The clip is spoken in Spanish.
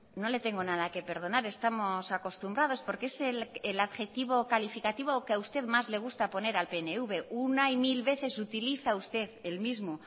no le tengo nada que perdonar estamos acostumbrados porque es el adjetivo calificativo que a usted más le gusta poner al pnv una y mil veces utiliza usted el mismo